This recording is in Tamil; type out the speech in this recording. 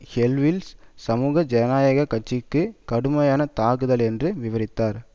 ஹெஸ்ஸவில் சமூக ஜனநாயக கட்சிக்கு கடுமையான தாக்குதல் என்று விவரித்தார்